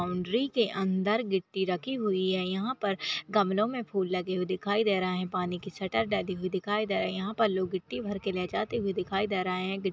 boundary के अंदर गिट्टी रखी हुई है यहाँ पर गमलो में फूल लगे हुए दिखाई दे रहा है पानी की शटर भी दिखाई दे रहा है यहाँ पर लोग गिट्टी भर के ले जाते हुए दिखाई दे रहे हैं गि--